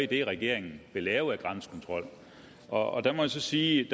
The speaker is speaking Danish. det regeringen vil lave af grænsekontrol og der må jeg så sige